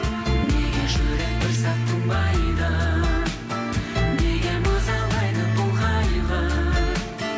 неге жүрек бір сәт тынбайды неге мазалайды бұл қайғы